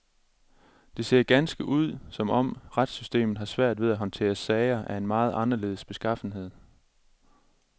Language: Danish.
Det ser ganske ud som om retssystemet har svært ved at håndtere sager af en meget anderledes beskaffenhed.